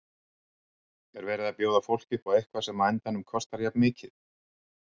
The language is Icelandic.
Er verið að bjóða fólki upp á eitthvað sem að á endanum kostar jafn mikið?